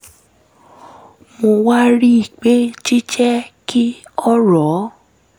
mo wá rí i pé jíjẹ́ kí ọ̀rọ̀